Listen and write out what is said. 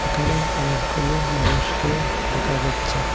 এখানে অনেকগুলো মানুষকে দেখা যাচ্ছে।